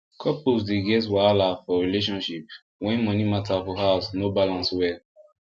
couples dey get wahala for relationship when money matter for house no balance well